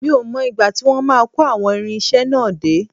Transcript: Mi ò mọ ìgbà tí wọ́n máa kó àwọn irinṣẹ́ náà dé